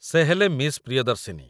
ସେ ହେଲେ ମିସ୍ ପ୍ରିୟଦର୍ଶିନୀ ।